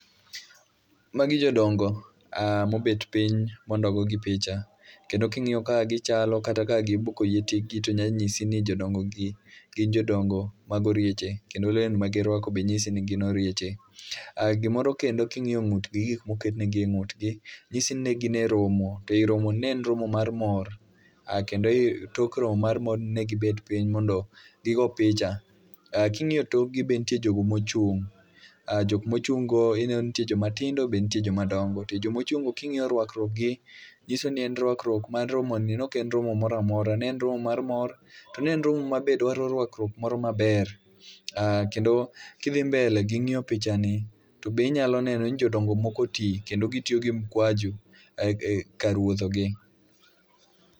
Magi jodongo mobet piny mondo ogogi picha. Kendo king'iyo kaka gichalo kata kaka gibuko yie tikgi to nyalo nyisi ni gin jodongo mag orieche. Kendo lewni ma girwako be nyisi ni gin orieche. Ah gimoro kendo king'iyo ng'utgi, gik moketnegi e ng'utgi, nyisi ni ne gin e romo. To ei romo ni ne en romo mar mor, ah kendo i tok romo mar morni ne gibet piny mondo gigo picha. Ah king'iyo tokgi be nitie jogo mochung', ah jok mochung' go ineno ni ntie joma tindo be ntie joma dongo. To e jomochung' go king'iyo rwakruokgi, nyiso ni en rwakruok mar romo ni. Nok en romo moramora, ne en romo mar mor. Ne en romo ma be ne dwaro rwakruok moro maber. Ah kendo kidhi mbele gi ng'iyo picha ni, to be inyalo neno ni jodongo moko oti, kendo gityo gi mkwajo kar wuotho gi.